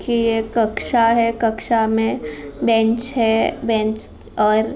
की ये कक्षा है कक्षा में बेंच है बेंच और --